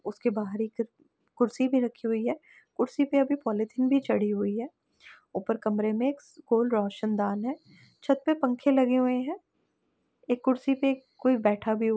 उसके बाहर र् एक कुर्सी भी रखी हुई है। कुर्सी पे अभी पॉलिथीन भी चढ़ी हुई है। ऊपर कमरे में क्स कोल रोशनदान है। छत पे पंख लगे हुए हैं। एक कुर्सी पे कोई एक बैठा भी हु --